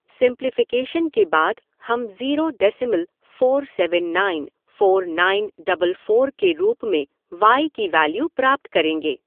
Simplification के बाद हम zero decimal four seven nine four nine double four के रूप में वाई की वेल्यू प्राप्त करेंगे।